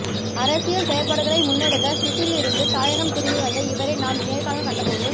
அரசியல் செயற்பாடுகளை முன்னெடுக்க சுவிஸில் இருந்து தாயகம் திரும்பி வந்த இவரை நாம் நேர்காணல் கண்டபோது